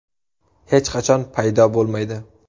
Hech qachon paydo bo‘lmaydi.